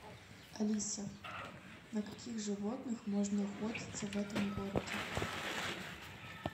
алиса на каких животных можно охотиться в этом городе